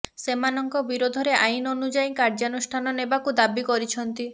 ସେମାନଙ୍କ ବିରୋଧରେ ଆଇନ୍ ଅନୁଯାୟୀ କାର୍ଯ୍ୟାନୁଷ୍ଠାନ ନେବାକୁ ଦାବି କରିଛନ୍ତି